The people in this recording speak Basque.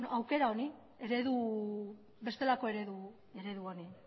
aukera honi bestelako eredu honi